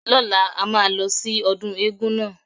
Lọ́la, a máa lọ sí ọdún éégún náà.